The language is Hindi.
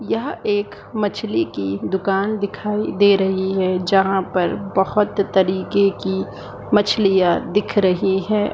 यह एक मछली की दुकान दिखाई दे रही है। जहां पर बोहोत तरीके की मछलियां दिख रही है।